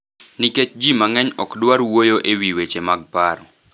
nikech ji mang’eny ok dwar wuoyo e wi weche mag paro.